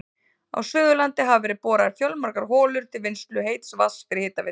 Á Suðurlandi hafa verið boraðar fjölmargar holur til vinnslu heits vatns fyrir hitaveitur.